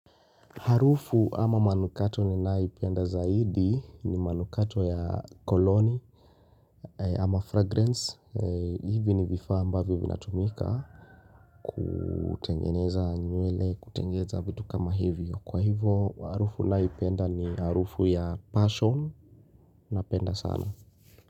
Harufu ama manukato ninayoipenda zaidi ni manukato ya koloni ama fragrance hivi ni vifaa ambavyo vinatumika kutengeneza nywele kutengeneza vitu kama hivyo kwa hivyo harufu nayoipenda ni harufu ya passion napenda sana.